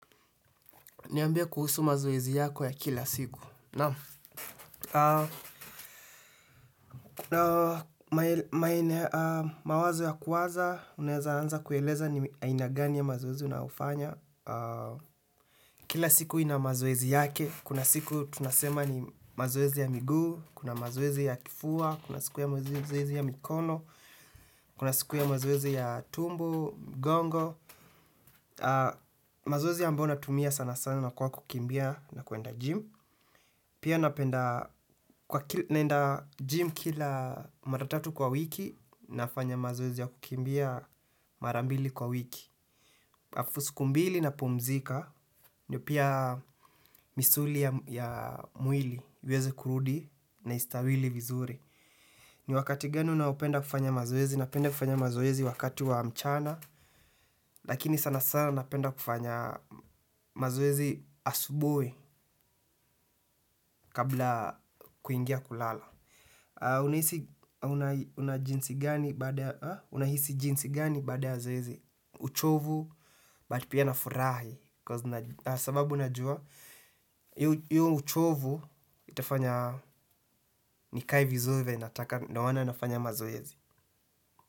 Niambie kuhusu mazoezi yako ya kila siku. Naam, mawazo ya kuwaza, unaeza anza kueleza ni aina gani ya mazoezi na unayofanya. Kila siku ina mazoezi yake. Kuna siku tunasema ni mazoezi ya miguu, kuna mazoezi ya kifua, kuna siku ya mazoezi ya mikono, kuna siku ya mazoezi ya tumbo, gongo. Mazoezi ambayo natumia sana sana ni kwa kukimbia na kuenda gym. Pia napenda, naenda gym kila mara tatu kwa wiki, nafanya mazoezi ya kukimbia marambili kwa wiki. Alafu siku mbili napumzika, na pia misuli ya mwili, iweze kurudi na istawili vizuri. Ni wakati gani unaopenda kufanya mazoezi? Napenda kufanya mazoezi wakati wa mchana, lakini sana sana napenda kufanya mazoezi asubuhi kabla kuingia kulala. Unahisi jinsi gani bada ya zoezi? Uchovu, but pia na furaha. Kwa sababu unajua, hiyo uchovu itafanya nikae vizuri, venye nataka ndio maana nafanya mazoezi.